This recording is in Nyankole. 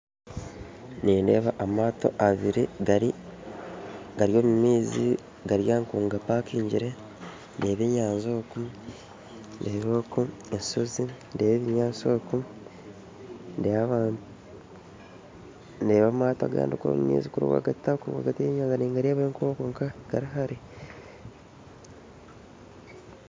Nindeeba amaato abiri gari gari omu maizi gari nkagapakingyire ndeeba enyanja oku ndeeba oku enshozi ndeeba ebinyaatsi oku ndeeba abantu ndeeba amato agandi kuri omu maizi kuri ningareebayo nkoku gari hare